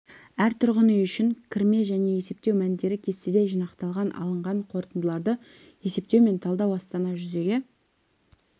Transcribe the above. әр түрғын үй үшін кірме және есептеу мәндері кестеде жинақталған алынған қорытындыларды есептеу мен талдау астана жүзеге